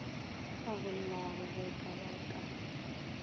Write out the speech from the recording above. sa bollago ge ba ka